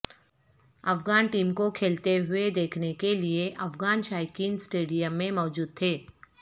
Afghan team کو کھیلتے ہوئے دیکھنے کے لیے افغان شائقین سٹیڈیم میں موجود تھے